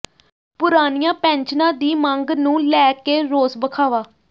ਪੁਰਾਣੀਆਂ ਪੈਨਸ਼ਨਾਂ ਦੀ ਮੰਗ ਨੂੰ ਲੈ ਕੇ ਰੋਸ ਵਖਾਵਾ